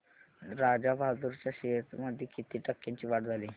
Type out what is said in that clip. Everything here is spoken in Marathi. राजा बहादूर च्या शेअर्स मध्ये किती टक्क्यांची वाढ झाली